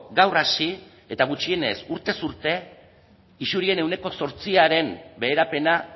gaur hasi eta gutxienez urtez urte isurien ehuneko zortziaren beherapena